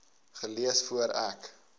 gelees voor ek